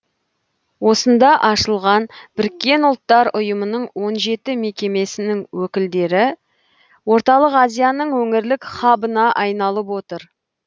осында ашылған біріккен ұлттар ұйымының он жеті мекемесінің өкілдіктері орталық азияның өңірлік хабына айналып отыр